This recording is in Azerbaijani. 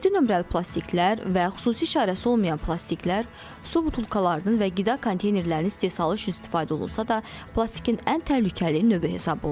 Yeddi nömrəli plastiklər və xüsusi işarəsi olmayan plastiklər su butulkalarının və qida konteynerlərinin istehsalı üçün istifadə olunsa da, plastikin ən təhlükəli növü hesab olunur.